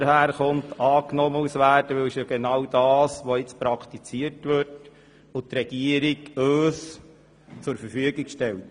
Der Vorstoss verlangt genau das, was jetzt praktiziert wird und was uns die Regierung zur Verfügung stellt.